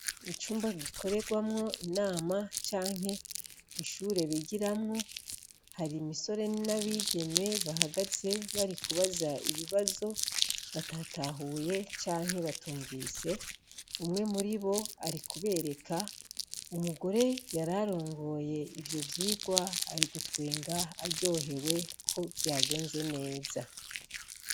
Icumba gikorerwamwo inama canke ishure bigiramwo hari imisore n'abigeme bahagaze bari kubaza ibibazo batatahuye canke batumvise umwe muri bo ari kubereka umugore yararongoye ivyo vyirwa rigutwenga aryohewe ko vyagenze neza.